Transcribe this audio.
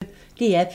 DR P1